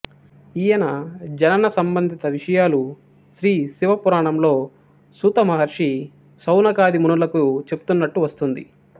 ఈయన జనన సంబంధిత విషయాలు శ్రీ శివ పురాణంలో సూత మహర్షి శౌనకాది మునులకి చెప్తున్నట్టు వస్తుంది